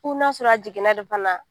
Fo n'a sɔrɔ a jiginna de fana